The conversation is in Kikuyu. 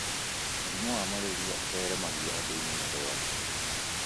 Mũrimũ wa malaria ũtheremagio andũinĩ nĩ rwagĩ.